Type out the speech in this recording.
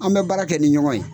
Anw bɛ baara kɛ ni ɲɔgɔn ye.